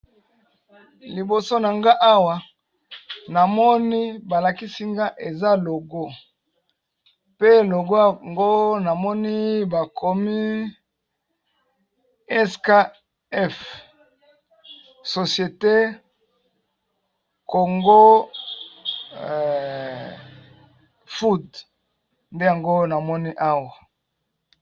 liboso na nga awa namoni balakisinga eza logo pe logo ngo namoni bakomi skf societe kongo fod nde yango namoni awa